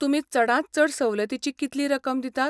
तुमी चडांत चड सवलतीची कितली रकम दितात?